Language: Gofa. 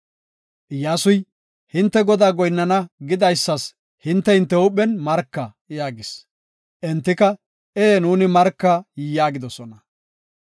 Iyyasuy, “Hinte Godaa goyinnana gidaysas hinte, hinte huuphen marka” yaagis. Entika, “Ee nuuni marka” yaagidosona.